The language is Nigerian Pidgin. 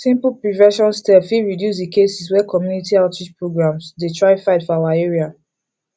simple prevention steps fit reduce the cases wey community outreach programs dey try fight for our area